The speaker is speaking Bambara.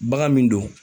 Bagan min don